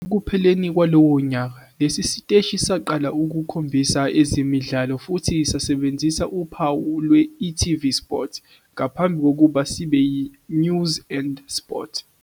Ngasekupheleni kwalowo nyaka, lesi siteshi saqala ukukhombisa Ezemidlalo futhi sasebenzisa uphawu lwe-e.tv Sport ngaphambi kokuba sibe yiNews and Sport.